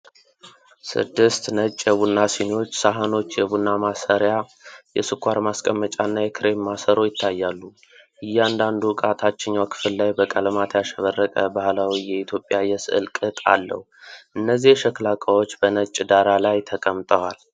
ሰድስት ነጭ የቡና ሲኒዎች፣ ሳህኖች፣ የቡና ማሰሪያ፣ የስኳር ማስቀመጫ እና የክሬም ማሰሮ ይታያሉ። እያንዳንዱ እቃ ታችኛው ክፍል ላይ በቀለማት ያሸበረቀ ባህላዊ የኢትዮጵያ የስዕል ቅጥ አለው። እነዚህ የሸክላ እቃዎች በነጭ ዳራ ላይ ተቀምጠዋል።